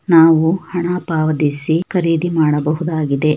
ನಾವು ಹಣ ಪಾವತಿಸಿ ಖರೀದಿ ಮಾಡಬಹುದಾಗಿದೆ.